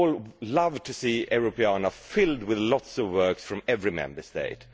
We would all love to see Europeana filled with lots of works from every Member State.